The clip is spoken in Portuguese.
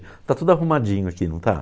Está tudo arrumadinho aqui, não está?